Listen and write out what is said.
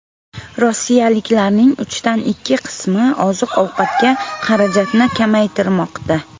Rossiyaliklarning uchdan ikki qismi oziq-ovqatga xarajatni kamaytirmoqda.